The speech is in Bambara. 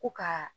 Ko ka